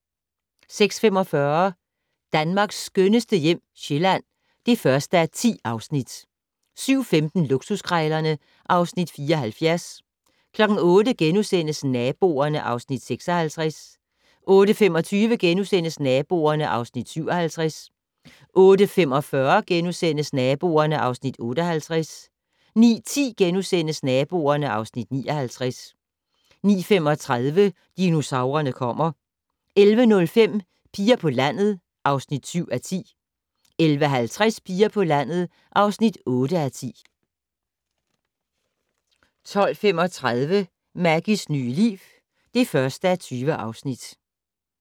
06:45: Danmarks skønneste hjem - Sjælland (1:10) 07:15: Luksuskrejlerne (Afs. 74) 08:00: Naboerne (Afs. 56)* 08:25: Naboerne (Afs. 57)* 08:45: Naboerne (Afs. 58)* 09:10: Naboerne (Afs. 59)* 09:35: Dinosaurerne kommer 11:05: Piger på landet (7:10) 11:50: Piger på landet (8:10) 12:35: Maggies nye liv (1:20)